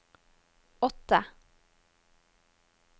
åtte